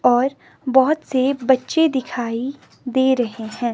और बहुत से बच्चे दिखाई दे रहे हैं।